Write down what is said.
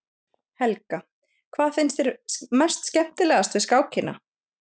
Helga: Hvað finnst þér mest skemmtilegast við skákina?